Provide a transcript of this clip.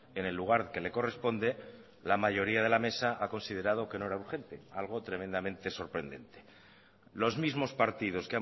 en el lugar que le corresponde la mayoría de la mesa ha considerado que no era urgente algo tremendamente sorprendente los mismos partidos